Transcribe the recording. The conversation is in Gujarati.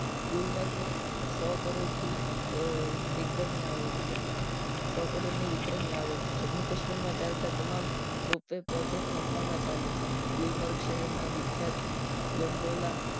ગુલમર્ગ માં સો કરોડ થી વિક્રમી આવક છે સો કરોડ ની વિક્રમી આવક છે જમ્મુ કાશ્મીર માં ચાલતા તમામ project નફામાં ચાલે છે ગુલમર્ગ શહેર ના વિખ્યાત ગંડોલા